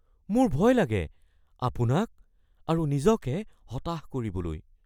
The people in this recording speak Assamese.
মোৰ ভয় লাগে আপোনাক আৰু নিজকে হতাশ কৰিবলৈ।